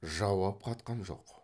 жауап қатқан жоқ